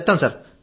చెప్తాం సార్